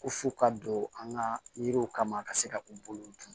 Ko f'u ka don an ka yiriw kama ka se ka u bolo